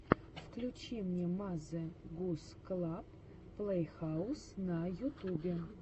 включи мне мазе гус клаб плейхаус на ютубе